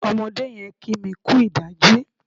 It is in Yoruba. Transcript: Ọmọdé yẹn kí mi kú ìdájí.